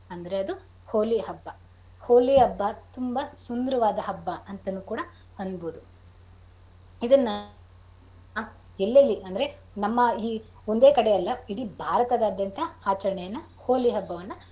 ಅಂದ್ರೆ ಅದು ಹೋಳಿ ಹಬ್ಬ. ಹೋಳಿ ಹಬ್ಬ ತುಂಬಾ ಸುಂದರವಾದ ಹಬ್ಬ ಅಂತಾನೂ ಕೂಡ ಅನ್ಬೋದು . ಇದನ್ನ ಎಲ್ಲೆಲ್ಲಿ ಅಂದ್ರೆ ನಮ್ಮ ಈ ಒಂದೇ ಕಡೆ ಅಲ್ಲ ಇಡೀ ಭಾರತದಾದ್ಯಂತ ಆಚಾರಣೆಯನ್ನ ಹೋಳಿ ಹಬ್ಬವನ್ನ.